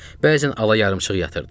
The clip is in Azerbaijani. Bəzən ala yarımçıq yatırdıq.